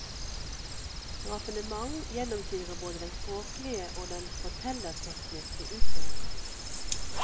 Raffinement gjennomsyrer både den språklige og den fortelletekniske utførelsen.